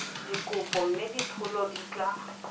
dikopo mme dipholo di tla